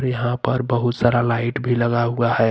यहां पर बहुत सारा लाइट भी लगा हुआ है।